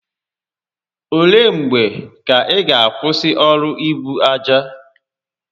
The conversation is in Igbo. Ole mgbe ka ị ga akwụsị ọrụ ibu aja?